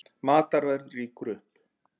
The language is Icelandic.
Matarverð rýkur upp